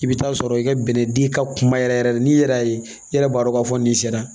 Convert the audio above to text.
I bɛ taa sɔrɔ i ka bɛnɛ di ka kuma yɛrɛ yɛrɛ n'i yɛrɛ y'a ye i yɛrɛ b'a dɔn k'a fɔ nin sera